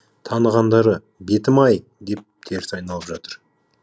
танығандары бетім ай деп теріс айналып жатыр